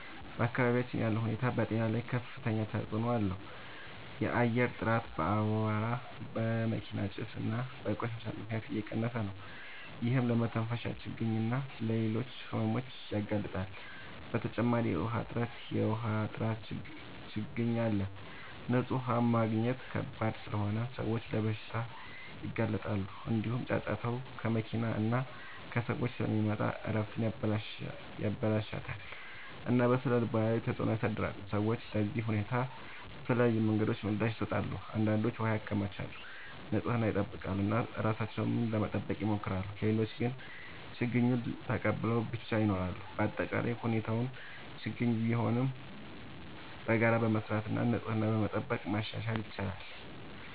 በአካባቢያችን ያለው ሁኔታ በጤና ላይ ከፍተኛ ተጽዕኖ አለው። የአየር ጥራት በአቧራ፣ በመኪና ጭስ እና በቆሻሻ ምክንያት እየቀነሰ ነው፤ ይህም ለመተንፈሻ ችግኝ እና ለሌሎች ሕመሞች ያጋልጣል። በተጨማሪ የውሃ እጥረት እና የውሃ ጥራት ችግኝ አለ፤ ንጹህ ውሃ ማግኘት ከባድ ስለሆነ ሰዎች ለበሽታዎች ይጋለጣሉ። እንዲሁም ጫጫታ ከመኪና እና ከሰዎች ስለሚመጣ እረፍትን ያበላሽታል እና በስነ-ልቦና ላይ ተጽዕኖ ያሳድራል። ሰዎች ለዚህ ሁኔታ በተለያዩ መንገዶች ምላሽ ይሰጣሉ። አንዳንዶች ውሃ ያከማቻሉ፣ ንጽህናን ይጠብቃሉ እና ራሳቸውን ለመጠበቅ ይሞክራሉ። ሌሎች ግን ችግኙን ተቀብለው ብቻ ይኖራሉ። በአጠቃላይ ሁኔታው ችግኝ ቢሆንም በጋራ በመስራት እና ንጽህናን በመጠበቅ ማሻሻል ይቻላል።